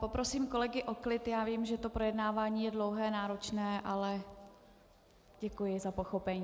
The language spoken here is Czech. Poprosím kolegy o klid, já vím, že to projednávání je dlouhé, náročné, ale děkuji za pochopení.